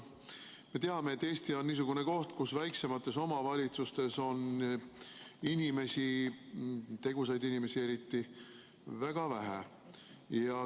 Me teame, et Eesti on niisugune koht, kus väiksemates omavalitsustes on tegusaid inimesi väga vähe.